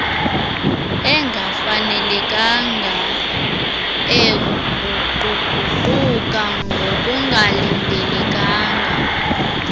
engafanelekanga eguquguquka ngokungalindelekanga